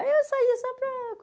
Aí eu saía só para